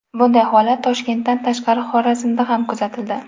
Bunday holat Toshkentdan tashqari Xorazmda ham kuzatildi .